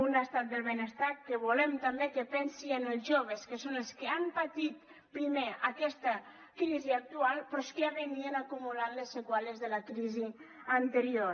un estat del benestar que volem també que pensi en els joves que són els que han patit primer aquesta crisi actual però és que ja acumulaven les seqüeles de la crisi anterior